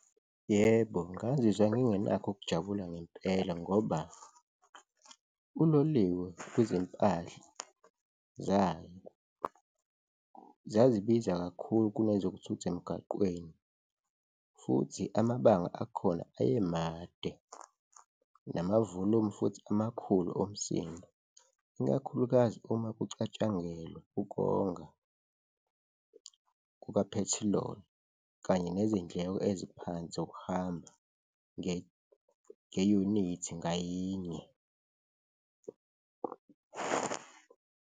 Yebo, ngazizwa ngingenakho ukujabula ngempela ngoba uloliwe kwizimpahla zayo zazi biza kakhulu kunezokuthutha emgaqweni futhi amabanga akhona aye made nama-volume futhi amakhulu omsindo, ikakhulukazi uma kucatshangelwa ukonga kukaphethiloli kanye nezindleko eziphansi zokuhamba ngeyunithi ngayinye.